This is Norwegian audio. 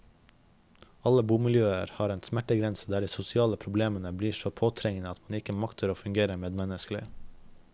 Alle bomiljøer har en smertegrense der de sosial problemene blir så påtrengende at man ikke makter å fungere medmenneskelig.